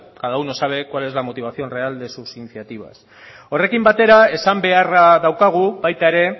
cada uno sabe cuál es la motivación real de sus iniciativas horrekin batera esan beharra daukagu baita ere